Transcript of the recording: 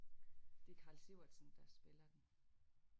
Det er Karl Sivertsen der spiller den